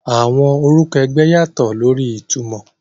Àwọn orúkọ ẹgbẹ́ yàtọ̀ lórí ìtumọ̀.